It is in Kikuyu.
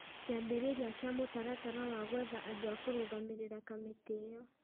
Kĩambĩrĩria kĩa mũtaratara wa gwetha andũ a kũrũgamĩrĩra kamĩtĩ ĩyo